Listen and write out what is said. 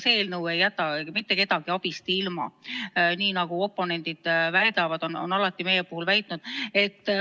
Meie eelnõu ei jäta mitte kedagi abist ilma, nagu oponendid väidavad, on alati meie puhul väitnud.